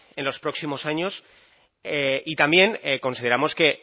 en los próximos años y también consideramos que